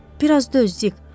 Bir az döz Dik.